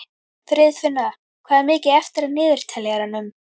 Friðfinna, hvað er mikið eftir af niðurteljaranum?